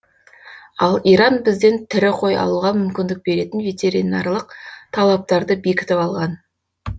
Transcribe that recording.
ал иран бізден тірі қой алуға мүмкіндік беретін ветеринарлық талаптарды бекітіп алған